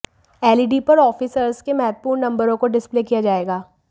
LED पर officers के महत्वपूर्ण नंबरों को डिस्पले किया जाएगा